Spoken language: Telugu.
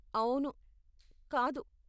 అవును, కాదు!